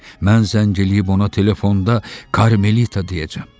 Mən zəng eləyib ona telefonda Karmelita deyəcəm.